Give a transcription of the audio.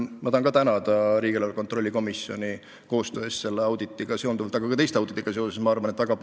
Mina tahan tänada riigieelarve kontrolli erikomisjoni nii selle auditiga kui ka teiste audititega seoses tehtud koostöö eest.